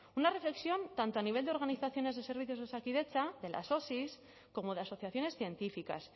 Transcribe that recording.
una reflexión tanto a nivel de organizaciones de servicios de osakidetza de las osi como de asociaciones científicas